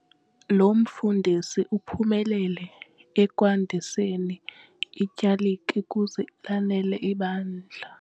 Lo mfundisi uphumelele ekwandiseni ityalike ukuze lanele ibandla.